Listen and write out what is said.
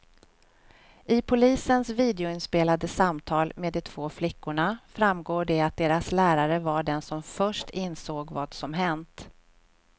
I polisens videoinspelade samtal med de två flickorna framgår det att deras lärare var den som först insåg vad som hänt.